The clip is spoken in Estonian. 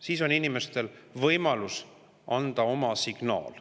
Siis on inimestel üle terve Eestimaa võimalus anda oma signaal.